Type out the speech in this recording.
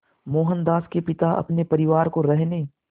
मोहनदास के पिता अपने परिवार को रहने